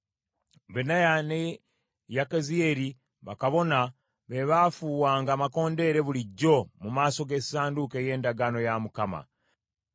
Benaya ne Yakaziyeeri bakabona be baafuuwanga amakondeere bulijjo mu maaso g’essanduuko ey’endagaano ya Katonda.